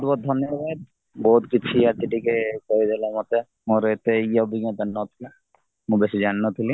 ବହୁତ ବହୁତ ଧନ୍ୟବଡ଼ ବହୁତ କିଛି ଆଜି ଟିକେ କହିଦେଲା ମତେ ମୋର ଅଟେ ଇଏ ଅଭିଜ୍ଞାତା ନଥିଲା ମୁ ବେଶୀ ଜାଣିନଥିଲି